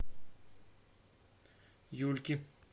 юльки